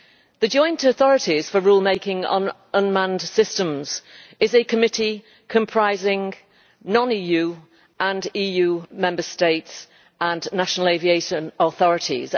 The Joint Authorities for Rulemaking on Unmanned Systems is a committee comprising non EU and EU Member States and national aviation authorities.